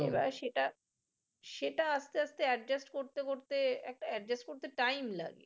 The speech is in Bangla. right সেটা সেটা আস্তে আস্তে adjust করতে করতে একটা adjust করতে time লাগে